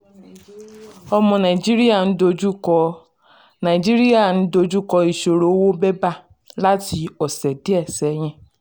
ọmọ nàìjíríà ń dojúkọ nàìjíríà ń dojúkọ ìṣòro owó bébà láti ọ̀sẹ̀ díẹ̀ sẹ́yìn.